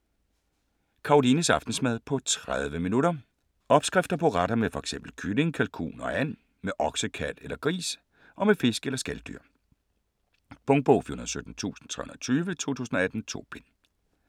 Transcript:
Karolines aftensmad på 30 min. Opskrifter på retter med fx kylling, kalkun og and, med okse, kalv eller gris og med fisk eller skaldyr. Punktbog 417320 2018. 2 bind.